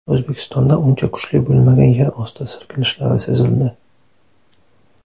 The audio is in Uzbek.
O‘zbekistonda uncha kuchli bo‘lmagan yerosti silkinishlari sezildi.